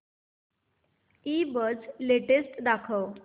ईबझ लेटेस्ट दाखव